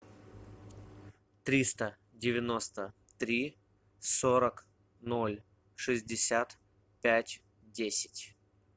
триста девяносто три сорок ноль шестьдесят пять десять